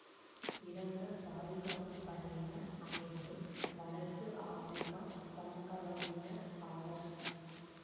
இறந்த பாதுகாப்பு படையினர் அனைவரும் வடக்கு ஆப்பிரிக்கா வம்சா வழியினர் ஆவர்